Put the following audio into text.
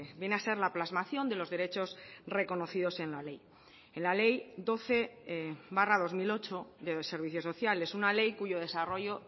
viene a ser la plasmación de los derechos reconocidos en la ley en la ley doce barra dos mil ocho de servicios sociales una ley cuyo desarrollo